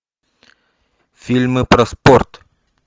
фильмы про спорт